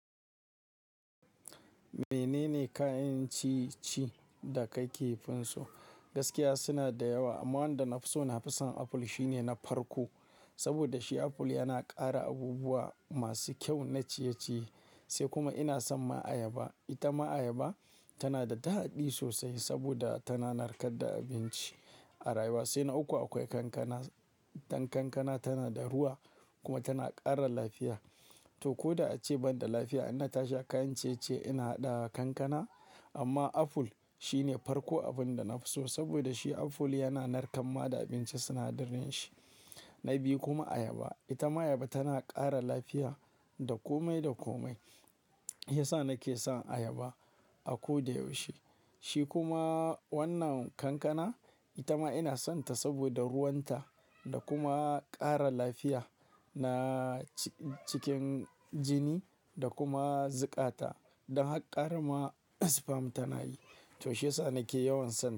Menene kayan ciye-ciye da ka ke fison? Gaskiya suna da yawa amma wanda na fi so na fi son aful shine na farko. Saboda shi aful yana ƙara abubuwa masu kyau na ciye-ciye sai kuma ina son ma ayaba. Ita ma ayaba tana da daɗi sosai saboda tana narkar da abinci a rayuwa. Sai na uku akwai kankana. Dan kankana tana da ruwa kuma tana ƙara lafiya. To koda ace banda lafiya, ina tashi kayan ciye-ciye ina haɗa kankana amma aful shine farko abin da na fi so saboda shi aful yana narkan ma da abinci sinadirai shi. Na biyu kuma ayaba. Ita ma ayaba tana ƙara lafiya da komai da komai. Shi Ya sa nake son ayaba a ko da yaushe. Shi kuma wannan kankana, ita ma ina son ta saboda ruwanta da kuma ƙara lafiya na cikin jini da kuma zukata. Don har ƙara ma spam tana yi. To shi ya sa nake yawan santa.